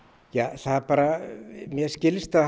það mér skilst að